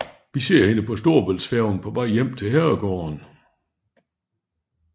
Vi ser hende på storebæltsfærgen på vej hjem til herregården